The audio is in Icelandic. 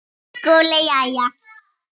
Hefurðu ekki tekið eftir því?